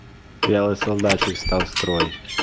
вялый солдатик встал в строй